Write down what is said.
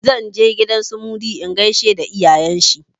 Zan je gidan su Mudi in gaishe da iyayen shi.